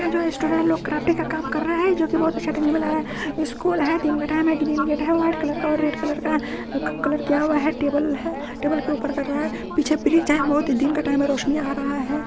ये जो है स्टूडेंट लोग का काम कर रहै है। जो की बोहोत अच्छा टेबल बना है। स्कूल है। दिन का टाइम है। है व्हाइट कलर का रेड कलर का कलर किया हुआ है। टेबल है। टेबल के ऊपर कर रहा है। पीछे दिन का टाइम है। रोशनी आ रहा है।